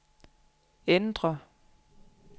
ændr